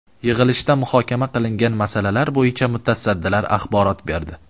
Yig‘ilishda muhokama qilingan masalalar bo‘yicha mutasaddilar axborot berdi.